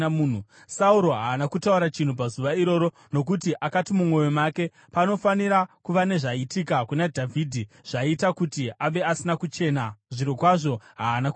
Sauro haana kutaura chinhu pazuva iroro, nokuti akati mumwoyo make, “Panofanira kuva nezvaitika kuna Dhavhidhi zvaita kuti ave asina kuchena, zvirokwazvo haana kuchena.”